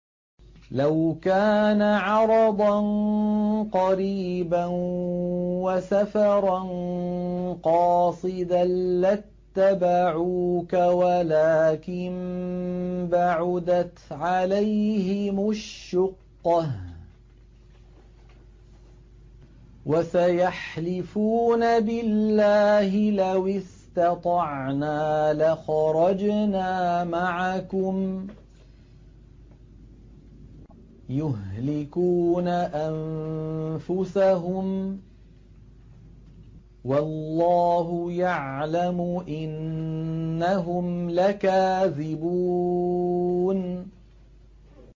لَوْ كَانَ عَرَضًا قَرِيبًا وَسَفَرًا قَاصِدًا لَّاتَّبَعُوكَ وَلَٰكِن بَعُدَتْ عَلَيْهِمُ الشُّقَّةُ ۚ وَسَيَحْلِفُونَ بِاللَّهِ لَوِ اسْتَطَعْنَا لَخَرَجْنَا مَعَكُمْ يُهْلِكُونَ أَنفُسَهُمْ وَاللَّهُ يَعْلَمُ إِنَّهُمْ لَكَاذِبُونَ